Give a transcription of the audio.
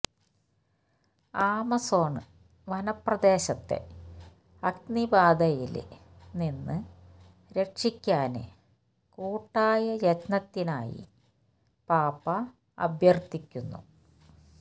Amazon വനപ്രദേശത്തെ അഗ്നിബാധയില് നിന്ന് രക്ഷിക്കാന് കൂട്ടായ യത്നത്തിനായി പാപ്പാ അഭ്യര്ത്ഥിക്കുന്നു